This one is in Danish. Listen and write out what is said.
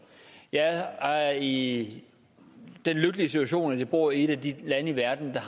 jeg er i den lykkelige situation at jeg bor i et af de lande i verden der